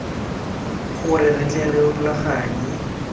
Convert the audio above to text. gore re tle re rulaganye